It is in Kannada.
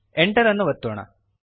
ಎಂಟರ್ ಅನ್ನು ಒತ್ತೋಣ